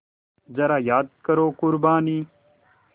ज़रा याद करो क़ुरबानी